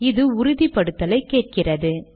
இது உறுதிப்படுத்தலை கேட்கிறது